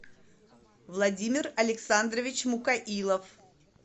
владимир александрович мукаилов